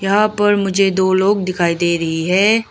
यहां पर मुझे दो लोग दिखाई दे रही है।